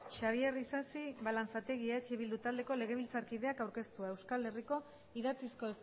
xabier isasi balanzategi eh bildu taldeko legebiltzarkideak aurkeztua euskal herriko idatzizko